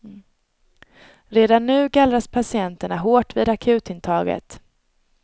Redan nu gallras patienterna hårt vid akutintaget.